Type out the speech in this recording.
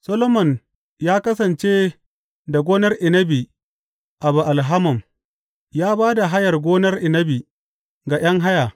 Solomon ya kasance da gonar inabi a Ba’al Hamon; ya ba da hayar gonar inabi ga ’yan haya.